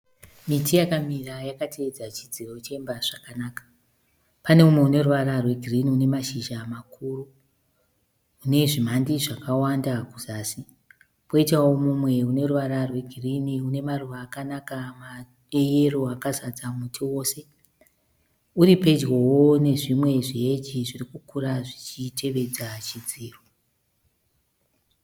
Miti yakamira yakatedza chidziro chemba zvakanaka. Pane umwe unoruvara reGirini unemashizha makuru unezvimhandi zvakawanda kuzasi. Poitawo mumwe uneruva rwegirini unamaruva akanaka e yero akazara muti wose, uripedyowo nezviji neHeji zviri kukura zvichitevedza chidziro.